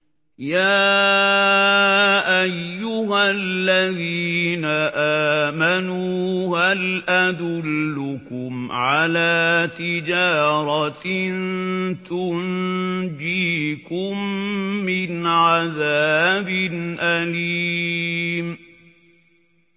يَا أَيُّهَا الَّذِينَ آمَنُوا هَلْ أَدُلُّكُمْ عَلَىٰ تِجَارَةٍ تُنجِيكُم مِّنْ عَذَابٍ أَلِيمٍ